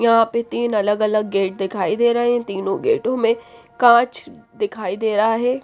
यहां पे तीन अलग अलग गेट दिखाई दे रहे हैं तीनों गेट में कांच दिखाई दे रहा है।